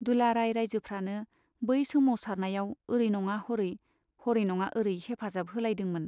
दुलाराय राइजोफ्रानो बे सोमावसारनायाव औरै नङा हरै , हरै नङा औरै हेफाजाब होलायदोंमोन।